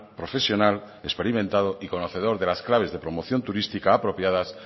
profesional experimentado y conocedor de las claves de promoción turística apropiadas